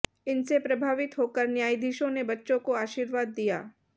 इनसे प्रभावित होकर न्यायाधीशों ने बच्चों को आशीर्वाद दिया